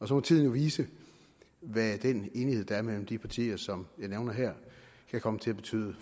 så må tiden jo vise hvad den enighed der er imellem de partier som jeg nævner her kan komme til at betyde